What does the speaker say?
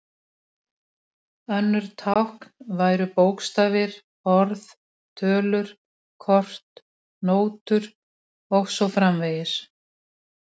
Önnur tákn væru bókstafir, orð, tölur, kort, nótur og svo framvegis.